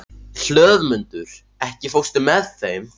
Hlöðmundur, ekki fórstu með þeim?